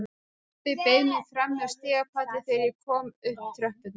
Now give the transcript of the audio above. Pabbi beið mín frammi á stigapalli þegar ég kom upp tröppurnar.